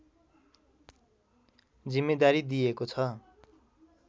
जिम्मेदारी दिएको छ